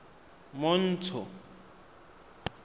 montsho